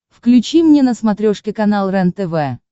включи мне на смотрешке канал рентв